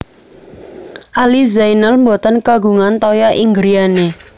Ali Zainal mboten kagungan toya ing griyane